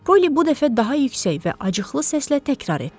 Polly bu dəfə daha yüksək və acıqlı səslə təkrar etdi.